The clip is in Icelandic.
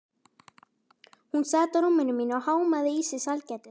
Hún sat á rúminu mínu og hámaði í sig sælgætið.